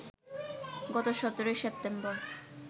গত ১৭ সেপ্টেম্বর